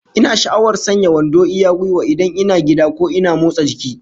Ina sha'awar sanya wando iya gwiwa, idan ina gida ko ina motsa jiki